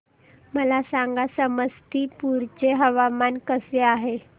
मला सांगा समस्तीपुर चे हवामान कसे आहे